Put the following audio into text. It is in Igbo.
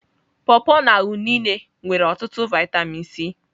Pọ pọ na unịne nwere otutu vitamin C.